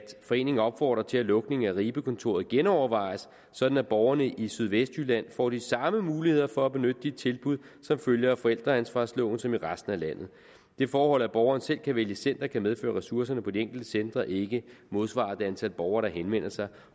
foreningen opfordrer til at lukningen af ribekontoret genovervejes sådan at borgerne i sydvestjylland får de samme muligheder for at benytte de tilbud som følger af forældreansvarsloven som i resten af landet det forhold at borgeren selv kan vælge center kan medføre at ressourcerne på de enkelte centre ikke modsvarer det antal borgere der henvender sig